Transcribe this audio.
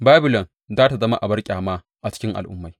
Babilon za tă zama abar ƙyama a cikin al’ummai!